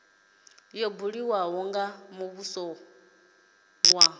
yo buliwaho ya muvhuso ya